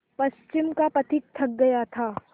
पश्चिम का पथिक थक गया था